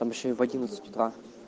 там ещё и в одиннадцать утра